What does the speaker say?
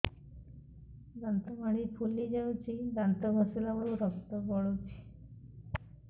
ଦାନ୍ତ ମାଢ଼ୀ ଫୁଲି ଯାଉଛି ଦାନ୍ତ ଘଷିଲା ବେଳକୁ ରକ୍ତ ଗଳୁଛି